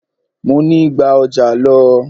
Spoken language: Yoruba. Mọ ní: gba ọjà lọ!